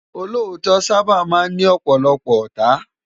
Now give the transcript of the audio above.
Ólótò sàbá má n ni òpòlòpò òtá